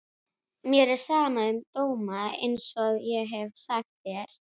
Mér er sama um dóma einsog ég hef sagt þér.